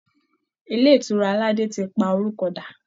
Ilé ìtura aládé ti pa orúkọ dà